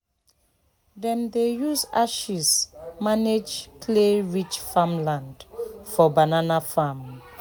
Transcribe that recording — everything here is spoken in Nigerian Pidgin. dem dey use ashes manage clay-rich farmland for banana farm.